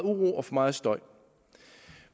meget støj